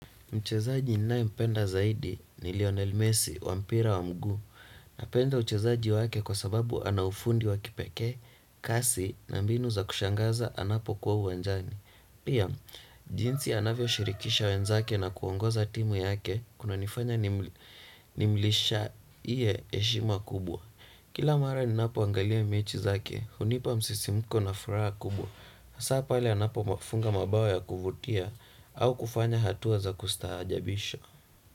Mchezaji ninae mpenda zaidi ni Lionel Messi wa mpira wa mguu napenda uchezaji wake kwa sababu anaufundi wa kipekee, kasi na mbinu za kushangaza anapo kuwa uwanjani. Pia, jinsi anavyo shirikisha wenzake na kuongoza timu yake kunanifanya nimlisha iye eshima kubwa. Kila mara ninapo angalia mechi zake, hunipa msisimuko na furaha kubwa. Sa pala anapo mafunga mabao ya kuvutia au kufanya hatuwa za kustahajabisha.